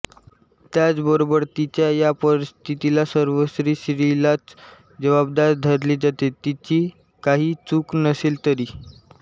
त्याचबरोबर तिच्या या परिस्थितीला सर्वस्वी स्त्रीलाच जबाबदार धरले जाते तिची काहीही चूक नसेल तरी